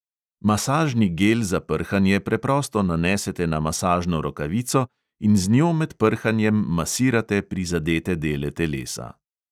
Masažni gel za prhanje preprosto nanesete na masažno rokavico in z njo med prhanjem masirate prizadete dele telesa.